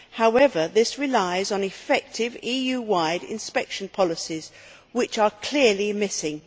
However, this relies on effective EU wide inspection policies which are clearly missing.